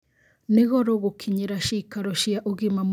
Nĩ goro gukinyĩra ciikaro cia ugima mwega wa mwĩrĩ itũra-inĩ ritu